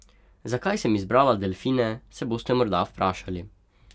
Zakaj sem izbrala delfine, se boste morda vprašali.